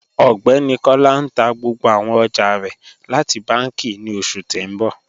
Ọgbẹni Kọla n tà gbogbo àwọn ọjà rẹ láti bànki ní oṣù tí n bọ